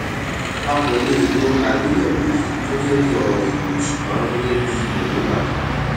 a kò lè lo àgbéyẹwò yii gẹgẹbí ọrọ ìyìn ṣùgbọn gẹgẹbí èròngbà kan